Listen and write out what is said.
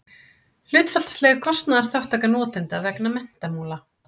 hlutfallsleg kostnaðarþátttaka notenda vegna menntamála